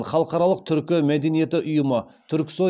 халықаралық түркі мәдениеті ұйымы